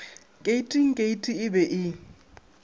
keiting keiti e be e